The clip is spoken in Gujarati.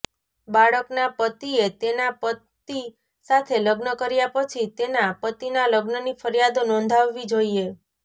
બાળકના પતિએ તેના પતિ સાથે લગ્ન કર્યા પછી તેના પતિના લગ્નની ફરિયાદ નોંધાવવી જોઈએ